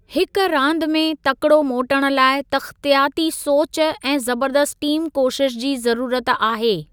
हिक रांदि में तकिड़ो मोटणु लाइ तख़्तियाती सोचु ऐं ज़बरदस्त टीम कोशिश जी ज़रूरत आहे।